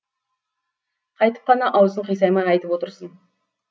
қайтіп қана аузың қисаймай айтып отырсың